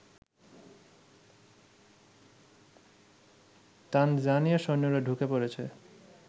তানজানিয়ার সৈন্যরা ঢুকে পড়েছে